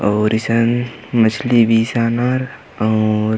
अऊर ईसन मछली बीसानर अऊर --